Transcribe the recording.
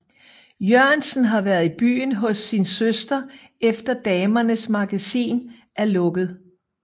Jørgensen har været i byen hos sin søster efter Damernes Magasin er lukket